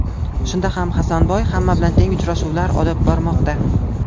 Shunda ham Hasanboy hamma bilan teng uchrashuvlar olib bormoqda.